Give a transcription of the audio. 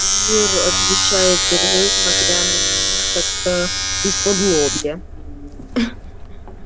ир отвечает сергей смотря на меня как-то исподлобья